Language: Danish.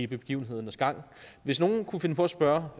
begivenhedernes gang at hvis nogen kunne finde på at spørge